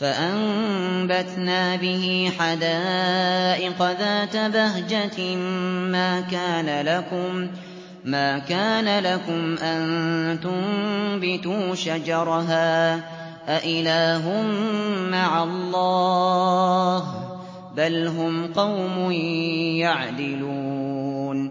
فَأَنبَتْنَا بِهِ حَدَائِقَ ذَاتَ بَهْجَةٍ مَّا كَانَ لَكُمْ أَن تُنبِتُوا شَجَرَهَا ۗ أَإِلَٰهٌ مَّعَ اللَّهِ ۚ بَلْ هُمْ قَوْمٌ يَعْدِلُونَ